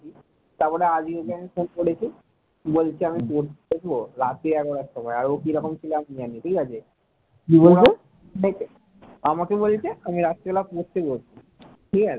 আমাকে বলছে আমি রাতের বেলায় পড়তে যাচ্ছি ঠিক আছে ।